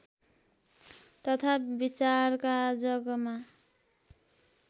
तथा विचारका जगमा